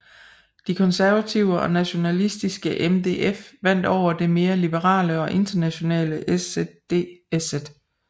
De konservative og nationalistiske MDF vandt over det mere liberale og internationale SzDSz